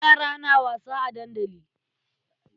Yara na wasa a dandali.